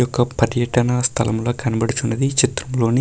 ఇది ఒక పర్యటన స్థలంలా కనబడుచున్నది. ఈ చిత్రంలోని --